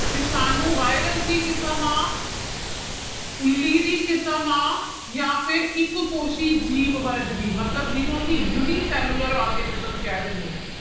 ਵਿਸ਼ਾਣੂ virus ਦੀ ਕਿਸਮ ਆਂ ਉੱਲੀ ਦੀ ਕਿਸਮ ਆਂ ਜਾਂ ਫਿਰ ਇੱਕ ਕੋਸੀ ਜੀਵ ਵਰਗ ਦੀ ਮਤਲਬ ਜਿਹਨੂੰ ਅਸੀਂ unicellular organism ਕਹਿ ਦਿੰਦੇ ਹਾਂ।